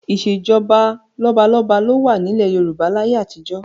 Ìṣèjọba lọ́balọ́ba ló wà nílẹ̀ Yorùbá láyé àtijọ́